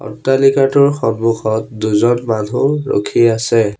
অট্টালিকাটোৰ সন্মুখত দুজন মানুহ ৰখি আছে।